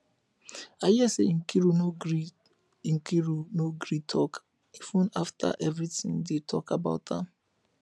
i hear say nkiru no gree nkiru no gree talk even after everything dey talk about am